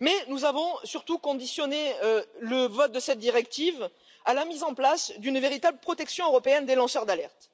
mais nous avons surtout conditionné le vote de cette directive à la mise en place d'une véritable protection européenne des lanceurs d'alerte.